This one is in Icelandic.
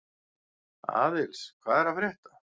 Aðils, hvað er að frétta?